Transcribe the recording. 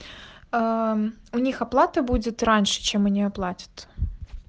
аа у них оплата будет раньше чем они оплатят